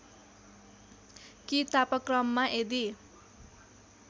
कि तापक्रममा यदि